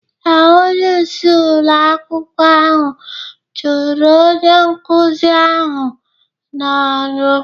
Ee, onyeisi ụlọ akwụkwọ ahụ chụrụ onye nkụzi ahụ n'ọrụ